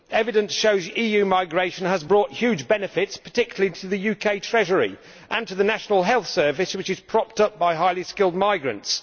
Evidence shows that EU migration has brought huge benefits, particularly to the UK Treasury and to the National Health Service, which is propped up by highly skilled migrants.